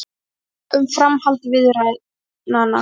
Funda um framhald viðræðnanna